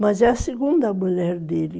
Mas é a segunda mulher dele.